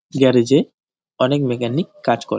Garage -এ অনেক mechanic কাজ করে।